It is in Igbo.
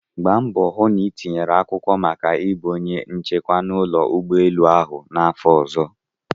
Gbaa mbọ hụ na itinyere akwụkwọ maka ịbụ onye nchekwa n'ụlọ ụgbọelu ahụ n'afọ ọzọ!